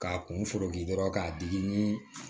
K'a kun foroki dɔrɔn k'a digi ni